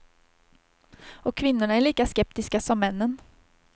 Och kvinnorna är lika skeptiska som männen.